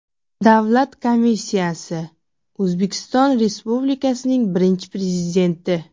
Davlat komissiyasi: O‘zbekiston Respublikasining Birinchi Prezidenti I.